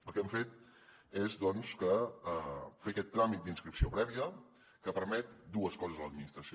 el que hem fet és doncs fer aquest tràmit d’inscripció prèvia que permet dues coses a l’administració